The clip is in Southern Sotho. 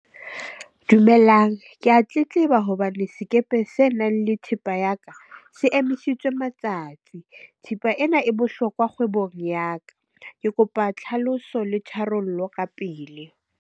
Dumelang, ke a tletleba hobane le sekepe se nang le thepa ya ka se emisitswe matsatsi. Thepa ena e bohlokwa kgwebong ya ka. Ke kopa tlhaloso le tharollo ka pele.